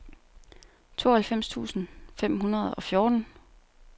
tooghalvfems tusind fem hundrede og fjorten